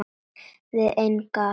Við engan að sakast